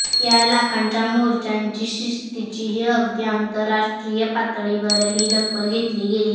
या लाखांच्या मोर्चांच्या शिस्तीचीही अगदी आंतरराष्ट्रीय पातळीवरही दखल घेतली गेली